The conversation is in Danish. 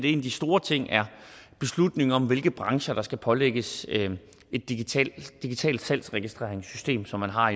en af de store ting er beslutningen om hvilke brancher der skal pålægges et digitalt salgsregistreringssystem som man har